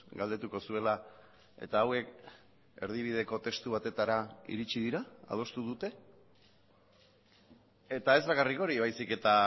galdetuko zuela eta hauek erdibideko testu batetara iritsi dira adostu dute eta ez bakarrik hori baizik eta